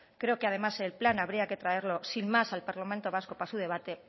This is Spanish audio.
creo que además el plan habría que traerlo sin más al parlamento vasco para su debate